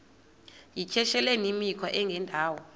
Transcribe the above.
yityesheleni imikhwa engendawo